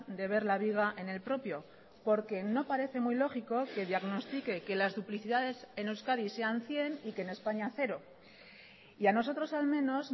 de ver la viga en el propio porque no parece muy lógico que diagnostique que las duplicidades en euskadi sean cien y que en españa cero y a nosotros al menos